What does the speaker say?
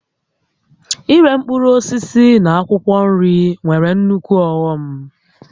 Íré mkpụrụ osisi na akwụkwọ nri nwere nukwu ọghọm